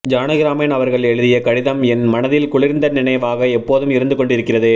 ஜானகிராமன் அவர்கள் எழுதிய கடிதம் என் மனதில் குளிர்ந்த நினைவாக எப்போதும் இருந்துகொண்டிருக்கிறது